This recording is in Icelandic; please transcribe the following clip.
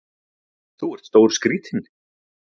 Þú ert stórskrítinn!